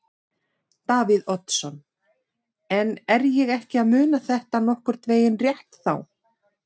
Davíð Oddsson: En er ég ekki að muna þetta nokkurn veginn rétt þá?